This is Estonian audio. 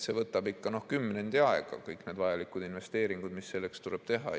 See võtab ikka kümnendi aega, kõik need vajalikud investeeringud, mis selleks tuleb teha.